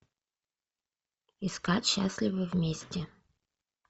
искать счастливы вместе